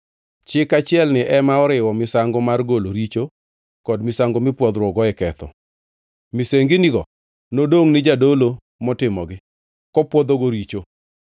Chik achielni ema oriwo misango mar golo richo kod misango mipwodhruokgo e ketho. Misenginigo nodongʼ ni jadolo motimogi, kopwodhogo richo.